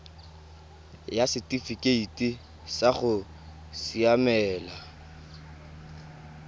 ya setifikeite sa go siamela